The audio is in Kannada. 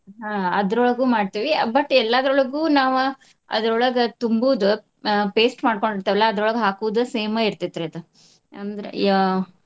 ಹಾ ಅದ್ರೋಳಗು ಮಾಡ್ತೇವಿ but ಎಲ್ಲಾದ್ರೋಳಗು ನಾವ ಅದ್ರೋಳಗ ತುಂಬುದ್ ಆ paste ಮಾಡ್ಕೊಂಡಿರ್ತೆವಲ್ಲಾ ಅದ್ರೋಳಗ ಹಾಕುದ same ಇರ್ತೈತ್ರಿ ಅದ್ ಅಂದ್ರ ಆ.